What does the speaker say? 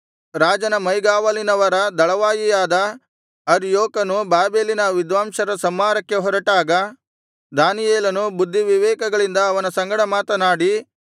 ರಾಜನ ಮೈಗಾವಲಿನವರ ದಳವಾಯಿಯಾದ ಅರ್ಯೋಕನು ಬಾಬೆಲಿನ ವಿದ್ವಾಂಸರ ಸಂಹಾರಕ್ಕೆ ಹೊರಟಾಗ ದಾನಿಯೇಲನು ಬುದ್ಧಿವಿವೇಕಗಳಿಂದ ಅವನ ಸಂಗಡ ಮಾತನಾಡಿ